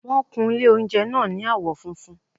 Wọ́n kun ilé oúnjẹ náà ní àwọ́ funfun